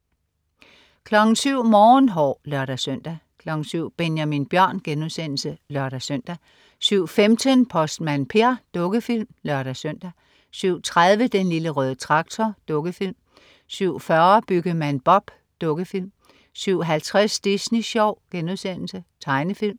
07.00 Morgenhår (lør-søn) 07.00 Benjamin Bjørn* (lør-søn) 07.15 Postmand Per. Dukkefilm (lør-søn) 07.30 Den Lille Røde Traktor. Dukkefilm 07.40 Byggemand Bob. Dukkefilm 07.50 Disney Sjov.* Tegnefilm